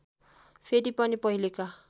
फेरि पनि पहिलेका